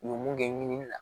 U ye mun kɛ ɲinini la